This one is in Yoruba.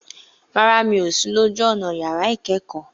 Rárá, mi ò sí lójú ọ̀nà yàrá ìkẹ́kọ̀ọ́.